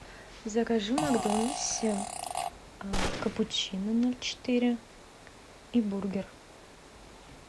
закажи в макдональдсе капучино ноль четыре и бургер